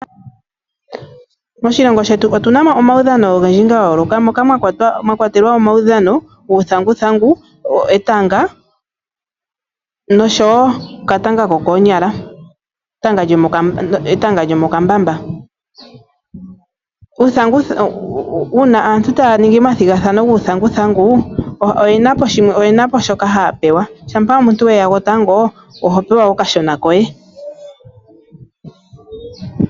Moshilongo shetu otuna mo omaudhano ogendji ga yooloka moka mwakwatelwa omaudhano guuthanguthangu etanga nosho okatanga kokoonyala ,uuna aantu taa ningi omathigathano guuthanguthangu shampa omuntu weya gwotango oho pewa okashona koye.